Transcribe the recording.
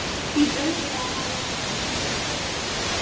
Hlýt auðvitað að hafa hann í blóðinu.